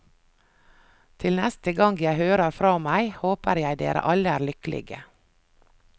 Til neste gang jeg hører fra meg, håper jeg dere alle er lykkelige.